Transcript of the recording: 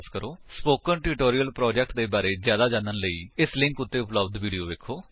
spoken tutorial project ਦੇ ਬਾਰੇ ਵਿੱਚ ਜਿਆਦਾ ਜਾਣਨ ਲਈ ਨਿਮਨ ਲਿੰਕ ਉੱਤੇ ਉਪਲੱਬਧ ਵਿਡਯੋ ਵੇਖੋ